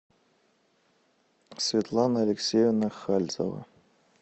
светлана алексеевна хальзева